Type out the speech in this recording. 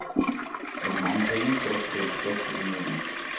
Af de mange penge skal der betales skat til unionen.